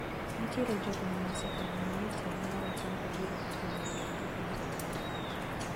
Nitiere jogo manosekoneno ni telo mar Otampo biro ketho winjruok gi pinje maoko.